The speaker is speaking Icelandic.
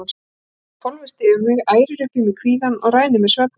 Það hvolfist yfir mig, ærir upp í mér kvíðann og rænir mig svefninum.